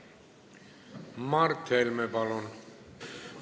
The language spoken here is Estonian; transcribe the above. Mart Helme, palun!